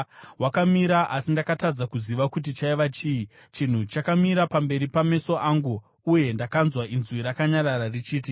Wakamira, asi ndakatadza kuziva kuti chaiva chii. Chinhu chakamira pamberi pameso angu, uye ndakanzwa inzwi rakanyarara richiti: